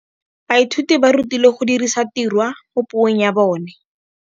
Baithuti ba rutilwe go dirisa tirwa mo puong ya bone.